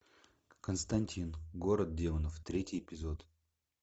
константин город демонов третий эпизод